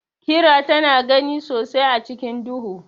Kira tana gani sosai a cikin duhu.